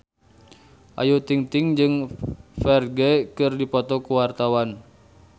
Ayu Ting-ting jeung Ferdge keur dipoto ku wartawan